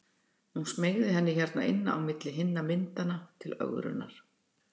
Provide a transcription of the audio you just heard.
Hún smeygði henni hérna inn á milli hinna myndanna til ögrunar.